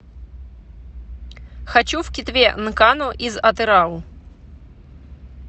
хочу в китве нкану из атырау